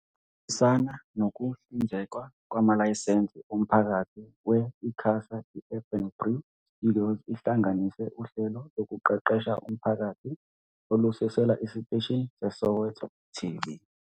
Ngokuhambisana nokuhlinzekwa kwamalayisense omphakathi we-ICASA, i-Urban Brew Studios ihlanganise uhlelo lokuqeqesha umphakathi olususelwa esiteshini seSoweto TV.